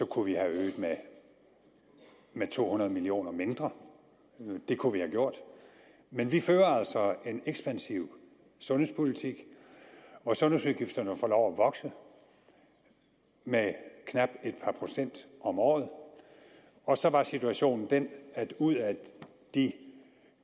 kunne vi have øget med to hundrede million kroner mindre det kunne vi have gjort men vi fører altså en ekspansiv sundhedspolitik og sundhedsudgifterne får lov at vokse med knap et par procent om året så var situationen den at ud af de